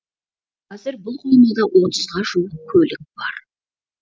қазір бұл қоймада отызға жуық көлік бар